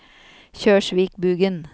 Kjørsvikbugen